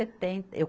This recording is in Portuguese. Eu